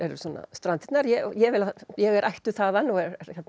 Strandirnar ég ég er ættuð þaðan og